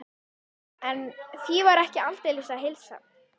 En því var aldeilis ekki að heilsa.